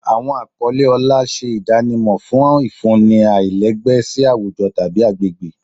Àwọn àkọlé ọlá ṣe ìdánimọ̀ àwọn ìfúnni aláìlẹ́gbẹ́ sí àwùjọ tàbí agbègbè